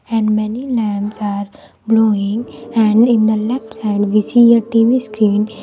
And many lamps are blowing and in the left side we see a T_V screen. --